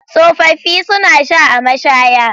Tsofaffi suna sha a mashaya.